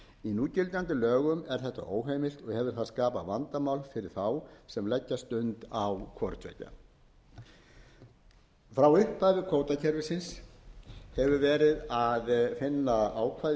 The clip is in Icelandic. núgildandi lögum er þetta óheimilt og hefur það skapað vandamál fyrir þá sem leggja stund á hvorutveggja frá upphafi kvótakerfisins hefur verið að finna ákvæði í